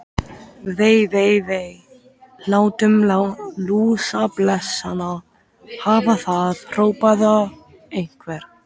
Vei, vei, vei. látum lúsablesana hafa það hrópaði einhver.